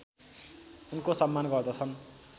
उनको सम्मान गर्दछन्